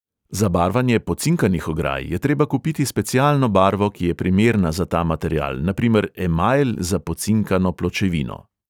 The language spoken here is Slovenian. Za barvanje pocinkanih ograj je treba kupiti specialno barvo, ki je primerna za ta material, na primer emajl za pocinkano pločevino.